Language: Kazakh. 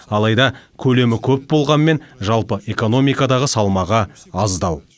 алайда көлемі көп болғанымен жалпы экономикадағы салмағы аздау